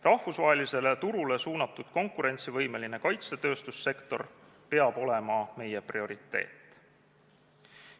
Rahvusvahelisele turule suunatud konkurentsivõimeline kaitsetööstussektor peab olema meie prioriteet.